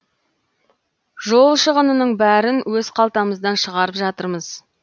жол шығынының бәрін өз қалтамыздан шығарып жатырмыз